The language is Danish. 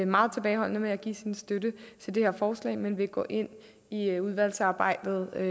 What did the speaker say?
meget tilbageholdende med at give sin støtte til det her forslag men vil gå ind i udvalgsarbejdet og